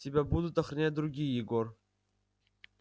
тебя будут охранять другие егор